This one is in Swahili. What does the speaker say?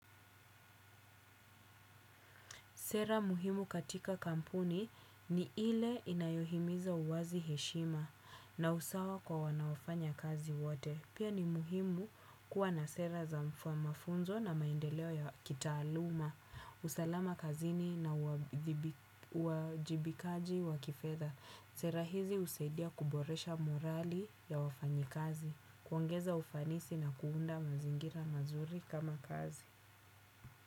Sera muhimu katika kampuni ni ile inayohimiza uwazi heshima na usawa kwa wanaofanya kazi wote. Pia ni muhimu kuwa na sera za mafunzo na maendeleo ya kitaaluma. Usalama kazini na uwajibikaji wa kifedha. Sera hizi husaidia kuboresha morali ya wafanyikazi. Kuongeza ufanisi na kuunda mazingira mazuri kama kazi.